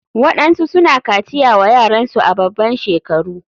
Waɗansu suna kaciya wa yaransu a baban shekaru.